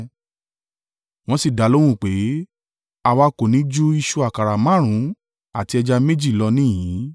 Wọ́n sì dalóhùn pé, “Àwa kò ní ju ìṣù àkàrà márùn-ún àti ẹja méjì lọ níhìn-ín.”